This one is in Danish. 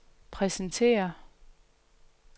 præsentere